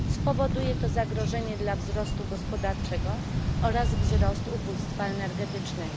Spowoduje to zagrożenie dla wzrostu gospodarczego oraz wzrost ubóstwa energetycznego.